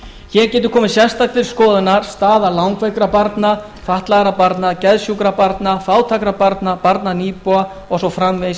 hér getur komið sérstaklega til skoðunar staða langveikra barna fatlaðra barna geðsjúkra barna fátækra barna barna nýbúa og svo framvegis í